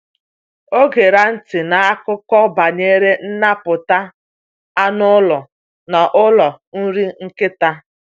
Ọ gera ntị n’akụkọ banyere nnapụta anụ ụlọ n’ụlọ nri nkịta.